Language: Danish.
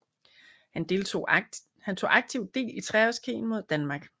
Han tog aktivt del i treårskrigen mod Danmark